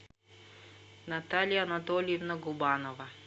наталья анатольевна губанова